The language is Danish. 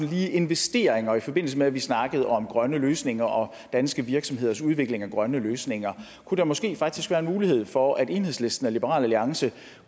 lige investeringer i forbindelse med at vi snakkede om grønne løsninger og danske virksomheders udvikling af grønne løsninger kunne der måske faktisk være en mulighed for at enhedslisten og liberal alliance